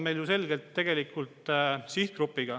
Sobib!